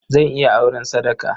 Zan iya auren sadaka.